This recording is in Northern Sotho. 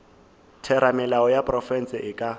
theramelao ya profense e ka